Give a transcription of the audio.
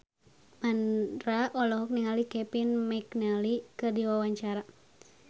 Mandra olohok ningali Kevin McNally keur diwawancara